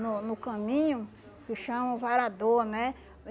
No no caminho, que chama o varador, né?